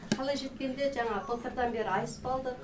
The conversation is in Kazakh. қалай жеткенде жаңағы былтырдан бері асп алдық